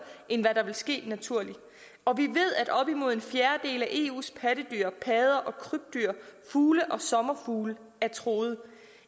end det ville ske naturligt og vi ved at op imod en fjerdedel af eus pattedyr padder og krybdyr fugle og sommerfugle er truet